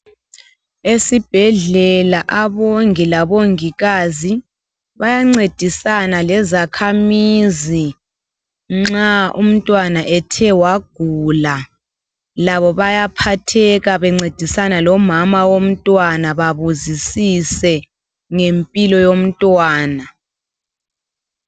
Esibhedlela abongi labongikazi bayancedisana lezakhamizi nxa umtwana ethe wagula labo bayaphatheka bencedisana lomama womtwana babuzisise ngempilo yomtwana